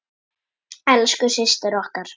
Elsku systir okkar.